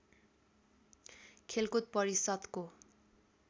खेलकुद परिषद्को